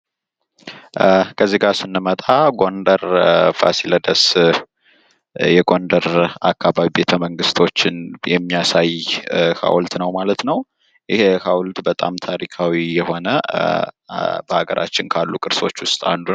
ከዚጋ ስንመጣ ጎንደር ፋሲለደስ ፤ የጎንደር አከባቢ ቤተመንግስቶችን የሚያሳይ ሃዉልት ነው ማለት ነው። ይህ ሃዉልት በጣም ታሪካዊ የሆነ በሃገራችን ካሉ ቅርሶች ዉስጥ አንዱ ነው።